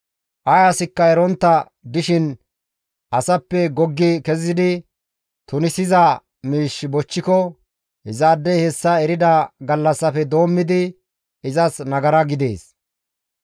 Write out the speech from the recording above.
«Ay asikka erontta dishin asappe goggi kezidi tunisiza miish bochchiko izaadey hessa erida gallassafe doommidi izas nagara gidees.